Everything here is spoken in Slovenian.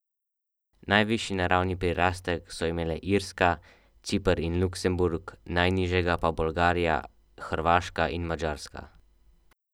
Najvišji naravni prirastek so imele Irska, Ciper in Luksemburg, najnižjega pa Bolgarija, Hrvaška in Madžarska.